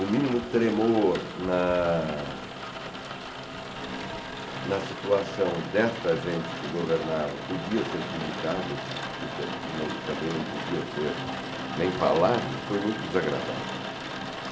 O mínimo tremor na na situação desta gente que governava podia ser publicado, nem também não podia ser nem falado, foi muito desagradável.